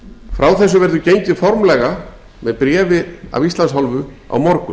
frá þessu verður gengið formlega með bréfi af íslands hálfu á morgun